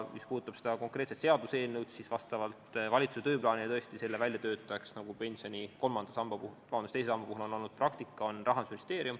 Mis puudutab konkreetset seaduseelnõu, siis vastavalt valitsuse tööplaanile on tõesti selle väljatöötaja Rahandusministeerium, nagu on pensioni teise samba puhul praktika olnud.